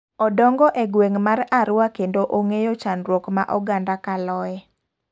Odongo e gweng' mar Arua kendo ong'eyo chandruok ma oganda kaloe.